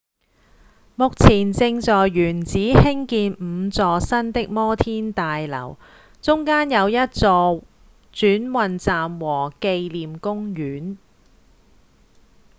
目前正在原址興建五座新的摩天大樓中間有一座轉運站和紀念公園